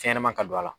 Fɛnɲɛnama ka don a la